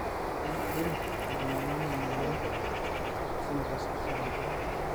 kaji ikoni pee ejunguni ena moyian enaitasapuk oltau?